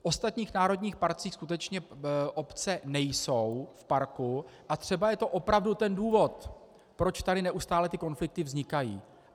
V ostatních národních parcích skutečně obce nejsou v parku a třeba je to opravdu ten důvod, proč tady neustále ty konflikty vznikají.